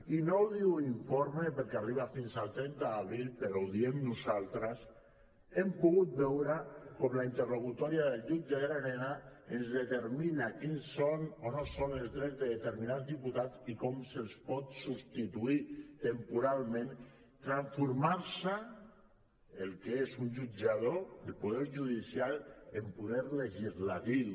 i no ho diu l’informe perquè arriba fins al trenta d’abril però ho diem nosaltres hem pogut veure con la interlocutòria del jutge llarena ens determina quins són o no són els drets de determinats diputats i com se’ls pot substituir temporalment transformant el que és un jutjador del poder judicial en poder legislatiu